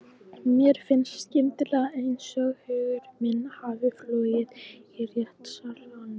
Mér finnst skyndilega einsog hugur minn hafi flúið úr réttarsalnum.